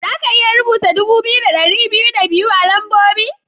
Za ka iya rubuta dubu biyu da ɗari biyu da biyu a lambobi?